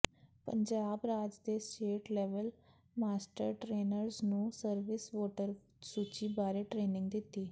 ਪੰਜਾਬ ਰਾਜ ਦੇ state level master trainers ਨੂੰ ਸਰਵਿਸ ਵੋਟਰ ਸੂਚੀ ਬਾਰੇ ਟ੍ਰੇਨਿੰਗ ਦਿੱਤੀ